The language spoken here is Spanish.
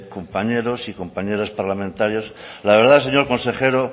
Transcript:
compañeros y compañeras parlamentarias la verdad señor consejero